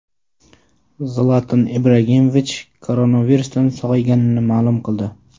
Zlatan Ibragimovich koronavirusdan sog‘ayganini ma’lum qildi.